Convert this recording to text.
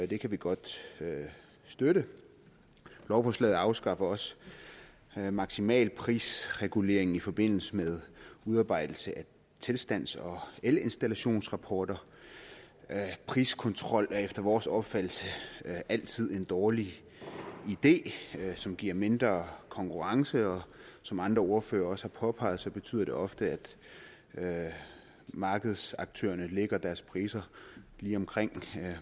det kan vi godt støtte lovforslaget afskaffer også maksimalprisreguleringen i forbindelse med udarbejdelse af tilstandsrapporter og elinstallationsrapporter priskontrol er efter vores opfattelse altid en dårlig idé som giver mindre konkurrence og som andre ordførere også har påpeget betyder det ofte at markedsaktørerne lægger deres priser lige omkring